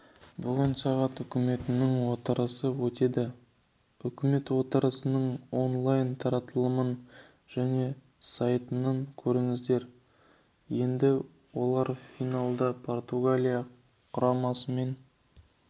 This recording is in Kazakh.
бүгін сағат үкіметінің отырысы өтеді үкіметотырысының онлайн таратылымын және сайтынан көріңіздер енді олар финалда португалия құрамасымен